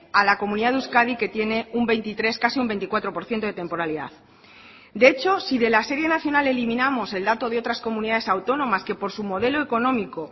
a la comunidad de euskadi que tiene un veintitrés casi un veinticuatro por ciento de temporalidad de hecho si de la serie nacional eliminamos el dato de otras comunidades autónomas que por su modelo económico